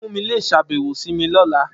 Fumi le ṣabẹwo si mi ni ọla.